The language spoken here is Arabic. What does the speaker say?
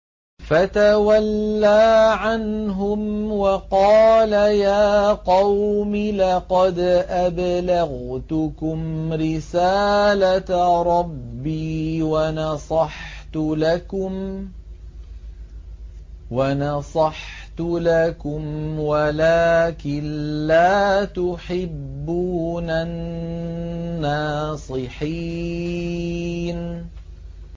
فَتَوَلَّىٰ عَنْهُمْ وَقَالَ يَا قَوْمِ لَقَدْ أَبْلَغْتُكُمْ رِسَالَةَ رَبِّي وَنَصَحْتُ لَكُمْ وَلَٰكِن لَّا تُحِبُّونَ النَّاصِحِينَ